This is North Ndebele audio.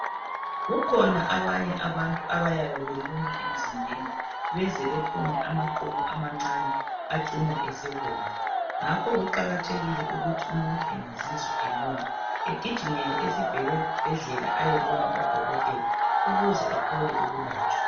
Kukhona abanye abantu abayabe belunywa emzimbeni, beze bephume amaqubu amancane acina esebomvu .Ngakho kuqakathekile ukuthi umuntu engazizwa elunywa ,egijimele esibhedlela ayebona udokothela ukuze ethole ukulatshwa.